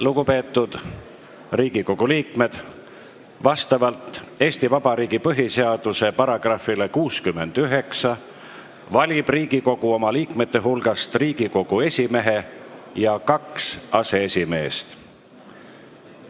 Lugupeetud Riigikogu liikmed, vastavalt Eesti Vabariigi põhiseaduse §-le 69 valib Riigikogu oma liikmete hulgast Riigikogu esimehe ja kaks aseesimeest.